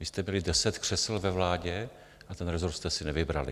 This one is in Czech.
Vy jste byli deset křesel ve vládě a ten rezort jste si nevybrali.